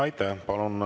Aitäh!